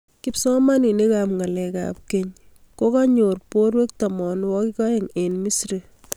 kipsomaninik ab ngalek ab keny kokanyor borwek tamanwakik aeng eng misri.